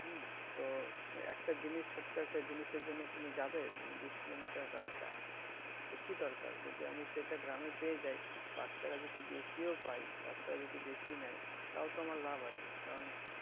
হম তো একটা জিনিস ছোট্ট একটা জিনিসের জন্য তুমি যাবে বিষ কিলোমিটার রাস্তা তো কি দরকার যদি আমি সেটা গ্রামে পেয়ে যাই পাঁচ টাকা যদি বেশিও পায় পাঁচ টাকা যদি বেশি নেয় তাওতো আমার লাভ আছে কারণ,